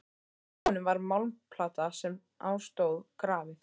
Á honum var málmplata sem á stóð grafið: